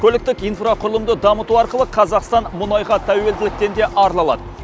көліктік инфрақұрылымды дамыту арқылы қазақстан мұнайға тәуелділіктен де арыла алады